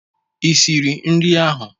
Ị siri nri ahụ?